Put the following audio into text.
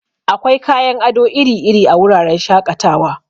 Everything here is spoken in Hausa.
Akwai kayan ado iri-iri a wuraren shaƙatawa.